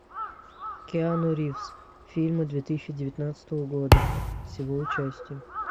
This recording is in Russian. киану ривз фильмы две тысячи девятнадцатого года с его участием